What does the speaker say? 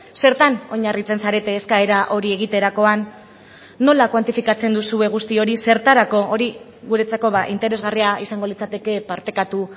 zertan oinarritzen zarete eskaera hori egiterakoan nola kuantifikatzen duzue guzti hori zertarako hori guretzako interesgarria izango litzateke partekatu